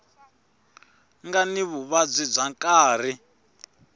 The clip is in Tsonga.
nga ni vuvabyi bya nkarhi